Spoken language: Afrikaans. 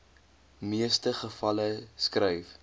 meeste gevalle skryf